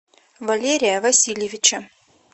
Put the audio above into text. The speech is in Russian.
валерия васильевича